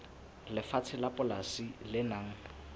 lefatshe la polasi le nang